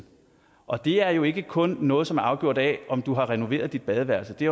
og det er jo ikke kun noget som er afgjort af om du har renoveret dit badeværelse det